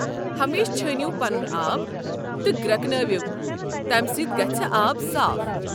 ہمیشہِ چھٲنِِو پنُن آب تہٕ گرٛٮ۪کنٲوِو، تمہ سۭتۍ گژھہِ آب صاف۔